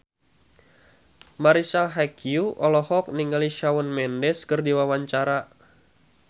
Marisa Haque olohok ningali Shawn Mendes keur diwawancara